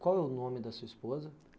Qual é o nome da sua esposa?